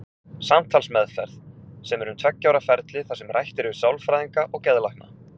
Samtalsmeðferð, sem er um tveggja ára ferli þar sem rætt er við sálfræðinga og geðlækna.